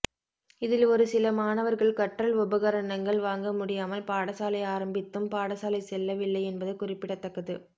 இதில் ஒரு சில மாணவர்கள் கற்றல் உபகரணங்கள் வாங்க முடியாமல் பாடசாலை ஆரம்பித்தும் பாடசாலை செல்ல வில்லை என்பது குறிப்பிடத்தக்கது